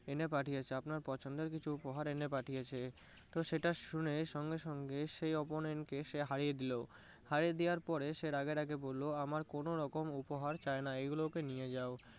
এনে পাঠিয়েছে। আপনার পছন্দের কিছু উপহার এনে পাঠিয়েছে। তো সেটা শুনে সঙ্গে সঙ্গে সেই opponent কে সে হারিয়ে দিলো। হারিয়ে দেওয়ার পর সে রাগে রাগে বললো আমার কোনো রকম উপহার চাইনা এগুলোকে নিয়ে যাও।